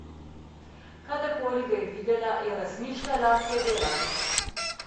Kadarkoli ga je videla, je razmišljala, kje dela.